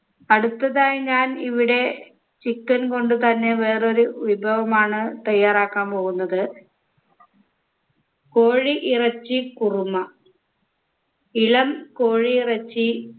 അടുത്തതായി ഞാൻ ഇവിടെ chicken കൊണ്ട് തന്നെ വേറൊരു വിഭവമാണ് തയ്യാറാക്കാൻ പോകുന്നത് കോഴി ഇറച്ചി കുറുമ ഇളം കോഴിയിറച്ചി